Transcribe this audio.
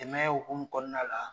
Dɛmɛ hukum kɔnɔna la